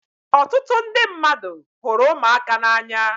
Ọtụtụ ndị mmadụ hụrụ ụmụaka n'anya